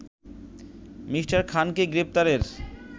Me. খানকে গ্রেপ্তারের